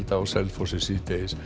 á Selfossi síðdegis